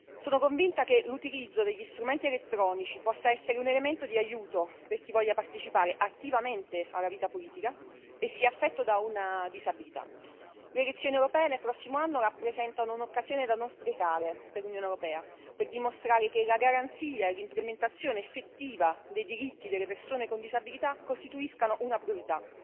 Sono convinta che l'utilizzo degli strumenti elettronici possa essere un elemento di aiuto per chi voglia partecipare attivamente alla vita politica e sia affetto da una disabilità. Le elezioni europee del prossimo anno rappresentano un'occasione da non sprecare per l'Unione europea, per dimostrare che la garanzia e l'implementazione effettiva dei diritti delle persone con disabilità costituiscano una priorità.